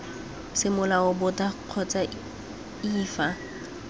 semolao boto kgotsa iii fa